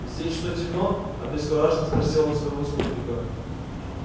здесь что темно обескураженно спросил он своего спутника